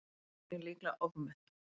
Eignir líklega ofmetnar